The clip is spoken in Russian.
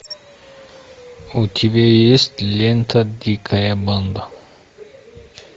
у тебя есть лента дикая банда